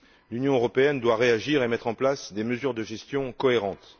L'Union européenne doit réagir et mettre en place des mesures de gestion cohérentes.